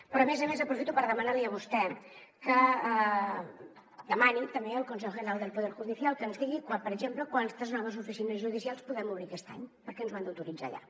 però a més a més aprofito per demanar li a vostè que demani també al consejo general del poder judicial que ens digui per exemple quantes noves oficines judicials podem obrir aquest any perquè ens ho han d’autoritzar allà